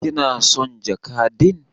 kina son jaka din?